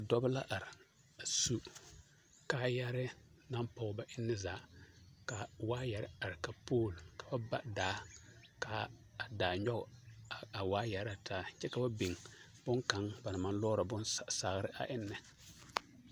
Dɔbɔ la are a su kaayɛrɛɛ naŋ pɔɡe ba enne zaa ka waayɛre are ka pool ka ba ba daa ka a daa nyɔɡe a waayɛre na taa kyɛ ka ba biŋ bonkaŋ a maŋ lɔɔrɔ saare ennɛ.